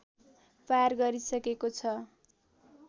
पार गरिसकेको छ